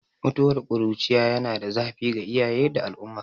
Mutuwar ƙuruciya yana da zafi ga iyaye da al'umma